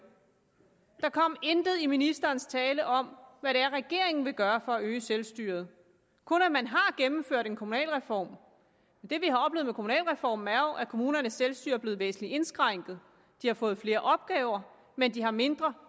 der kom intet i ministerens tale om hvad det er regeringen vil gøre for at øge selvstyret kun at man har gennemført en kommunalreform det vi har oplevet med kommunalreformen er jo at kommunernes selvstyre er blevet væsentlig indskrænket de har fået flere opgaver men de har mindre